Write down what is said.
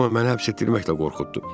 Amma məni həbs etdirməklə qorxutdu.